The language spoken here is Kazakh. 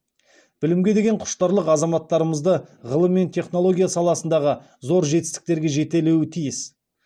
білімге деген құштарлық азаматтарымызды ғылым мен технология саласындағы зор жетістіктерге жетелеуі тиіс